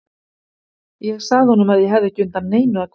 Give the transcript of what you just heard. Ég sagði honum að ég hefði ekki undan neinu að kvarta.